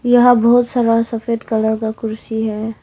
यहां बहोत सारा सफेद कलर का कुर्सी है।